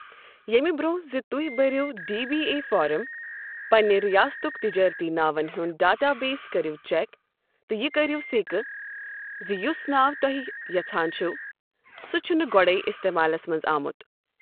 یٚیمہِ بر٘ونہہ زِ تُہے بٔرِو ڈی بی اے فارم ،پننہِ رِیاستٗك تِجارتی ناون ہّند ڈاٹا بیس كریو چك تہٕ یہٕ كرِیو سیكہٕ زِ یٗس ناو تُہے یژھان چھِوٕ ،سُہ چھٗنہٕ گوڈے٘ اِستمالس منز آمٗت۔